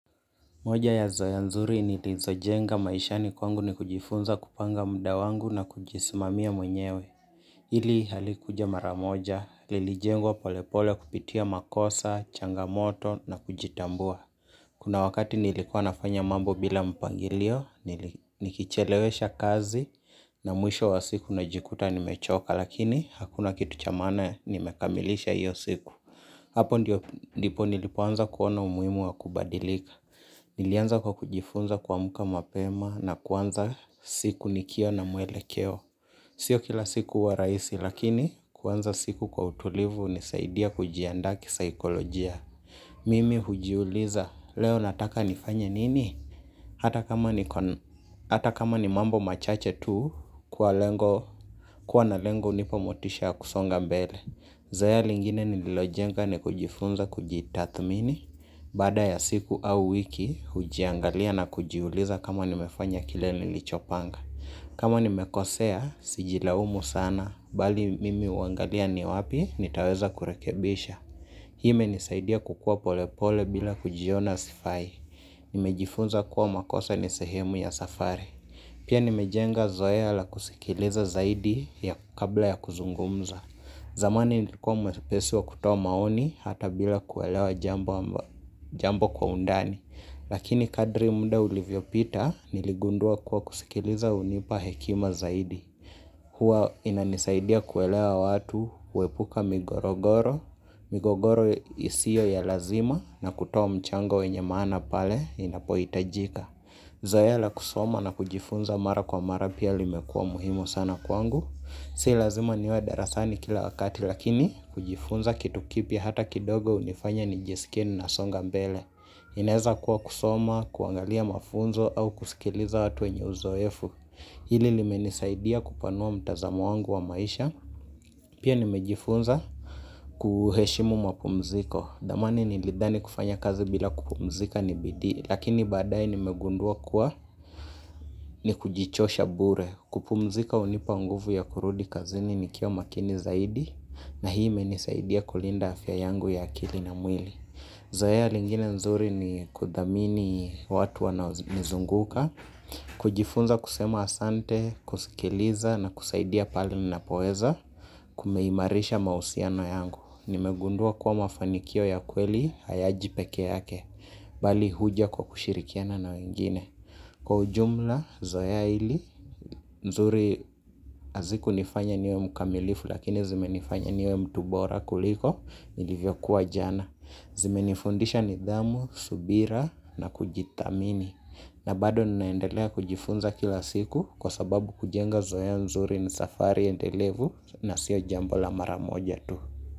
Moja ya zaya nzuri nilizojenga maishani kwangu ni kujifunza kupanga muda wangu na kujisimamia mwenyewe. Hili halikuja maramoja, lilijengwa polepole kupitia makosa, changamoto na kujitambua. Kuna wakati nilikuwa nafanya mambo bila mpangilio, nikichelewesha kazi na mwisho wa siku najikuta nimechoka lakini hakuna kitu cha maana nimekamilisha hiyo siku. Hapo ndipo nilipoanza kuona umuhimu wa kubadilika nilianza kwa kujifunza kuamka mapema na kuanza siku nikio na muelekeo. Sio kila siku huwa rahisi lakini kuanza siku kwa utulivu hunisaidia kujiandaa kisaikolojia. Mimi hujiuliza leo nataka nifanye nini? Hata kama ni mambo machache tu kwa lengo kuwa na lengo hunipa motisha ya kusonga mbele. Zoea lingine nililojenga ni kujifunza kujitathmini. Baada ya siku au wiki hujiangalia na kujiuliza kama nimefanya kile nilichopanga kama nimekosea, sijilaumu sana, bali mimi huangalia ni wapi, nitaweza kurekebisha. Hii imenisaidia kukua polepole bila kujiona sifai. Nimejifunza kuwa makosa ni sehemu ya safari. Pia nimejenga zoea la kusikiliza zaidi ya kabla ya kuzungumza zamani nilikuwa mwepesi wa kutoa maoni hata bila kuelewa jambo kwa undani lakini kadri muda ulivyopita niligundua kuwa kusikiliza hunipa hekima zaidi hua inanisaidia kuelewa watu kuepuka migorogoro migogoro isiyo ya lazima na kutowa mchango wenye maana pale inapoi itajika zoea la kusoma na kujifunza mara kwa mara pia limekua muhimu sana kwangu si lazima niwe darasani kila wakati lakini kujifunza kitu kipya hata kidogo hunifanya nijisikie nina songa mbele inaeza kuwa kusoma, kuangalia mafunzo au kusikiliza watu wenye uzoefu hili limenisaidia kupanua mtazamo wangu wa maisha pia nimejifunza kuheshimu mapumziko dhamani nilidhani kufanya kazi bila kupumzika ni bidii lakini baadae nimegundua kuwa ni kujichosha bure kupumzika hunipa nguvu ya kurudi kazini nikiwa makini zaidi na hii imenisaidia kulinda afya yangu ya akili na mwili zoea lingine nzuri ni kudhamini watu wanaonizunguka kujifunza kusema asante, kusikiliza na kusaidia pale ninapoeza. Kumeimarisha mausiano yangu. Nimegundua kuwa mafanikio ya kweli hayaji peke yake bali huja kwa kushirikiana na wengine kwa ujumla zoea hili zuri azikunifanya niwe mkamilifu lakini zimenifanya niwe mtu bora kuliko nilivyokuwa jana zimenifundisha nidhamu, subira na kujitamini na bado ninaendelea kujifunza kila siku kwa sababu kujenga zoea nzuri ni safari endelevu na sio jambo la maramoja tu.